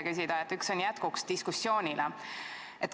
Neist üks on jätkuks diskussioonile.